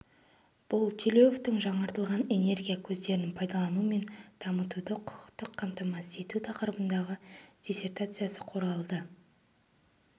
бұл телеуевтың жаңартылатын энергия көздерін пайдалану мен дамытуды құқықтық қамтамасыз ету тақырыбындағы диссертациясы қорғалды